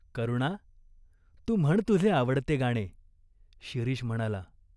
"करुणा, तू म्हण तुझे आवडते गाणे." शिरीष म्हणाला.